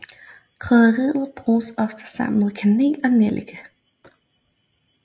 Krydderiet bruges ofte sammen med kanel og nellike